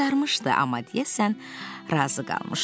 O qızarmışdı, amma deyəsən razı qalmışdı.